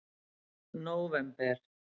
nóvember